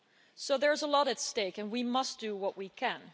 So there's a lot at stake and we must do what we can.